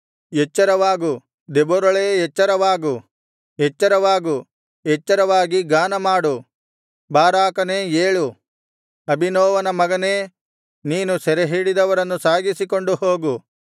ಎಚ್ಚರವಾಗು ದೆಬೋರಳೇ ಎಚ್ಚರವಾಗು ಎಚ್ಚರವಾಗು ಎಚ್ಚರವಾಗಿ ಗಾನಮಾಡು ಬಾರಾಕನೇ ಏಳು ಅಬೀನೋವಮನ ಮಗನೇ ನೀನು ಸೆರೆಹಿಡಿದವರನ್ನು ಸಾಗಿಸಿಕೊಂಡು ಹೋಗು